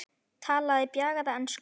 Talaði bjagaða ensku: